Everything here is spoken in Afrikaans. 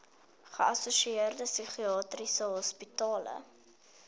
geassosieerde psigiatriese hospitale